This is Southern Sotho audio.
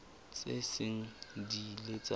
tse seng di ile tsa